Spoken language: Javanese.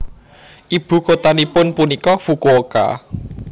Ibu kotanipun punika Fukuoka